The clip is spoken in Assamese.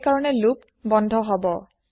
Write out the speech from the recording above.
সেইকাৰণে লোপ বন্ধ হব